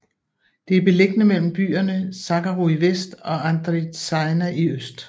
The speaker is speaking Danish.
Det er beliggende mellem byerne Zacharo i vest og Andritsaina i øst